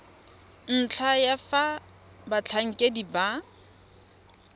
ntlha ya fa batlhankedi ba